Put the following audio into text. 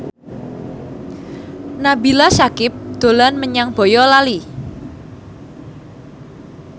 Nabila Syakieb dolan menyang Boyolali